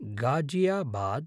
Ghaziabad